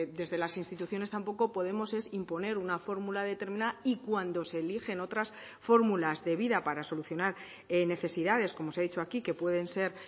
desde las instituciones tampoco podemos es imponer una fórmula determinada y cuando se eligen otras fórmulas de vida para solucionar necesidades como se ha dicho aquí que pueden ser